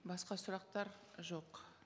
басқа сұрақтар жоқ